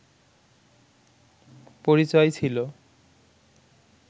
পরিচয় ছিল